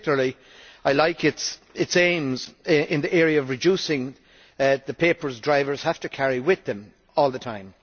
In particular I like its aims in the area of reducing the papers drivers have to carry with them all the time.